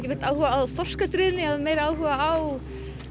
beint áhuga á þorskastríðinu ég hafði meiri áhuga á